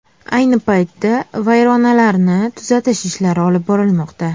Ayni paytda vayronalarni tuzatish ishlari olib borilmoqda.